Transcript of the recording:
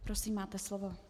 Prosím, máte slovo.